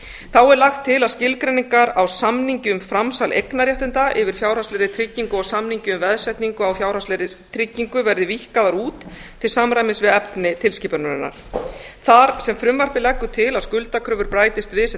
þá er lagt til að skilgreiningar á samningi um framsal eignarréttinda yfir fjárhagslegri tryggingu og samningi um veðsetningu á fjárhagslegri tryggingu verði víkkaðar út til samræmis við efni tilskipunarinnar þar sem frumvarpið leggur til að skuldakröfur bætist við sem